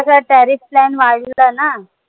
कस है tariff plan वाढलं ना